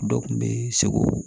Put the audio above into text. Dɔ kun be segu